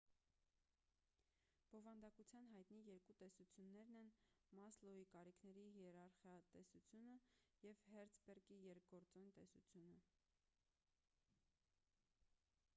բովանդակության հայտնի երկու տեսություններն են մասլոուի կարիքների հիերարխիա տեսությունը և հերցբերգի երկգործոն տեսությունը